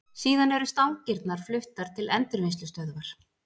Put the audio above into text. Síðan eru stangirnar fluttar til endurvinnslustöðvar.